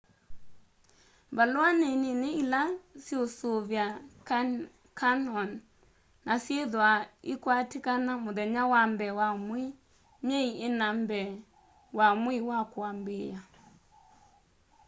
valua ni nini ila syiusuvia canyon na syithwaa ikwatikana muthenya wa mbee wa mwei myei ina mbee wa mwei wa kuambiia